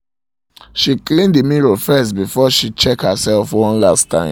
she clean the mirror firstbefore she check herself one last time